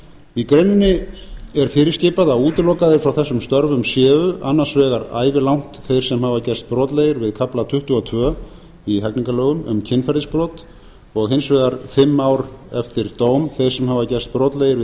í greininni er fyrirskipað að útilokaðir frá þessum störfum séu annars vegar ævilangt þeir sem hafa gerst brotlegir við kafla tuttugu og tvö í hegningarlögum kynferðisbrot og hins vegar fimm ár eftir dóm þeir sem hafa gerst brotlegir við